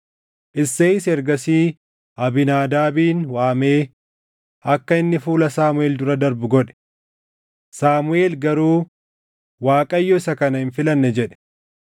Isseeyis ergasii Abiinaadaabin waamee akka inni fuula Saamuʼeel dura darbu godhe. Saamuʼeel garuu, “ Waaqayyo isa kana hin filanne” jedhe.